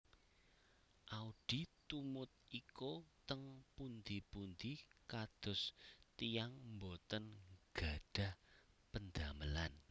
Audy tumut Iko teng pundi pundi kados tiyang mboten nggadhah pendamelan